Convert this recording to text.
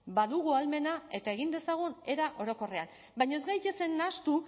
badugu ahalmena eta egin dezagun eta orokorrean baina ez gaitezen nahastu